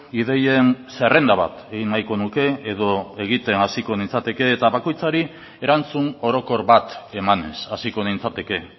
ideien zerrenda bat egin nahiko nuke edo egiten hasiko nintzateke eta bakoitzari erantzun orokor bat emanez hasiko nintzateke